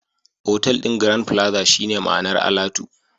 Otal ɗin Grand plaza shine ma'anar alatu